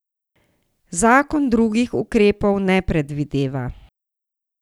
Zakon drugih ukrepov ne predvideva.